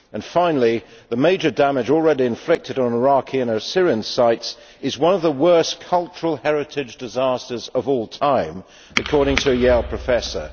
Finally, the major damage already inflicted on Iraqi and Assyrian sites is one of the worst cultural heritage disasters of all time, according to a Yale professor.